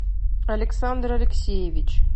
александр алексеевич